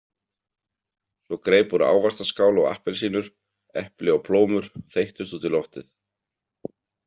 Svo greip hún ávaxtaskál og appelsínur, epli og plómur þeyttust út í loftið.